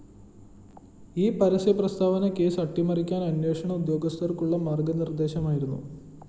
ഈ പരസ്യപ്രസ്താവന കേസ് അട്ടിമറിക്കാന്‍ അന്വേഷണ ഉദ്യോഗസ്ഥര്‍ക്കുള്ള മാര്‍ഗ്ഗനിര്‍ദ്ദേശമായിരുന്നു